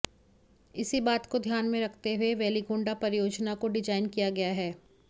इसी बात को ध्यान में रखते हुए वेलिगोंडा परियोजना को डिजाइन किया गया है